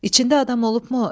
İçində adam olubmu?